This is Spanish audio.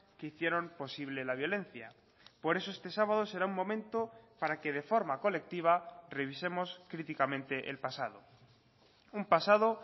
que hicieron posible la violencia por eso este sábado será un momento para que de forma colectiva revisemos críticamente el pasado un pasado